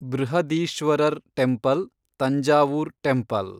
Brihadeeswarar temple, Thanjavur temple